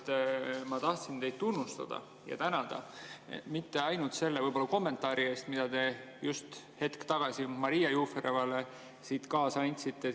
Kõigepealt ma tahtsin teid tunnustada ja tänada mitte ainult võib-olla selle kommentaari eest, mida te just hetk tagasi Maria Juferevale siit kaasa andsite.